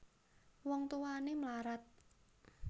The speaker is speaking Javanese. Wong Tuwané mlarat